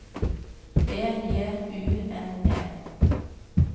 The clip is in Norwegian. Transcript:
B J U N E